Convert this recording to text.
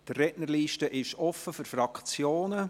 Die Rednerliste ist offen für die Fraktionen.